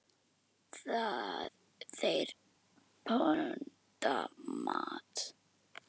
Þeir pöntuðu mat.